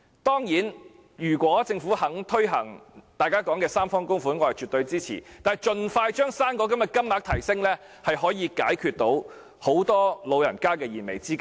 當然，如果政府願意推行大家提出的三方供款方案，我是絕對支持的，但盡快將"生果金"的金額提升，可以解決很多老人家的燃眉之急。